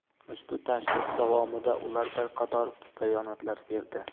Ushbu tashrif davomida ular bir qator bayonotlar berdi.